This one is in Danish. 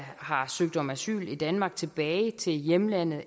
har søgt om asyl i danmark tilbage til hjemlandet